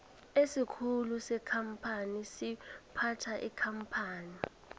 isikhulu sekampani siphatha ikampani